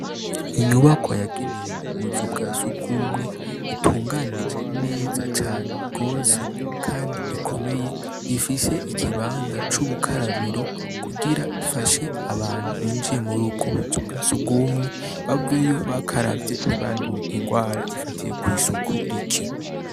Inyubakwa yagenewe ubuzu bwa sugumwe itunganijwe neza cane gose kandi ikomeye ifise ikibanza cubukarabiro kugira gifashe abantu binjiye ubwo buzu bwa sugumwe baveyo bakaravye ntibaveyo banduye indwara zifatiye kwisuku rike